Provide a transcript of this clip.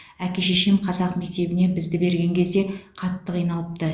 әке шешем қазақ мектебіне бізді берген кезде қатты қиналыпты